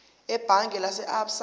ebhange lase absa